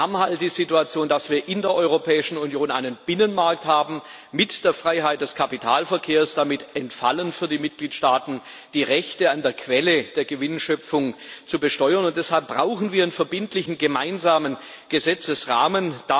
Wir haben halt die Situation, dass wir in der Europäischen Union einen Binnenmarkt mit der Freiheit des Kapitalverkehrs haben. Damit entfallen für die Mitgliedstaaten die Rechte, an der Quelle der Gewinnschöpfung zu besteuern, und deshalb brauchen wir einen verbindlichen gemeinsamen Gesetzesrahmen.